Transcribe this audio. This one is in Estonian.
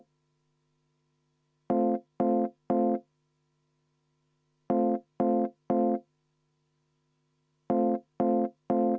Vaheaeg kümme minutit.